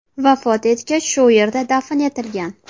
Vafot etgach, shu yerda dafn etilgan.